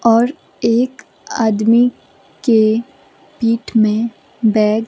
और एक आदमी के पीठ में बैग --